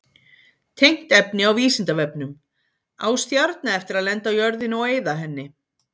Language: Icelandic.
Tengt efni á Vísindavefnum: Á stjarna eftir að lenda á jörðinni og eyða henni?